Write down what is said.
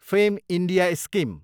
fame India scheme